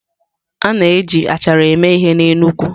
A na-eji achara eme ihe n'Enugwu.